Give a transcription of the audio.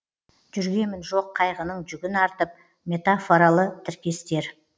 жүргемін жоқ қайғының жүгін артып метафоралы тіркестер